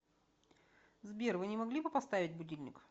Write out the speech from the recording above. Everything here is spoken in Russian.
сбер вы не могли бы поставить будильник